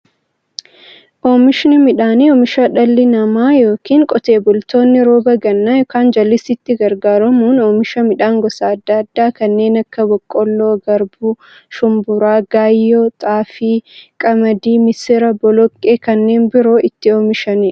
Oomishni midhaanii, oomisha dhalli namaa yookiin Qotee bultoonni roba gannaa yookiin jallisiitti gargaaramuun oomisha midhaan gosa adda addaa kanneen akka; boqqoolloo, garbuu, shumburaa, gaayyoo, xaafii, qamadii, misira, boloqqeefi kanneen biroo itti oomishamiidha.